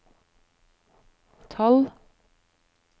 tolv